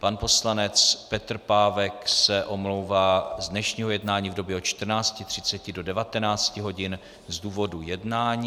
Pan poslanec Petr Pávek se omlouvá z dnešního jednání v době od 14.30 do 19 hodin z důvodu jednání.